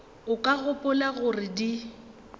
o ka gopola gore di